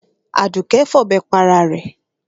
Àdùké fọ̀bẹ pa ara rẹ̀.